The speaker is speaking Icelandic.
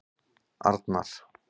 Arnar